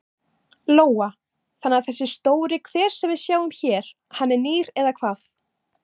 Lóa: Þannig að þessi stóri hver sem við sjáum hér hann er nýr eða hvað?